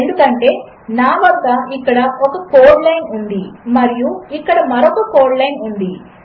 ఎందుకంటేనావద్దఇక్కడఒకకోడ్లైన్ఉందిమరియుఇక్కడమరొకకోడ్లైన్ఉంది